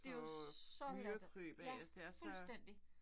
Det jo så latterligt. Ja fuldstændig